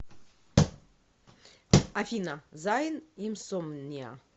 афина зайн инсомниа